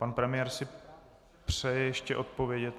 Pan premiér si přeje ještě odpovědět.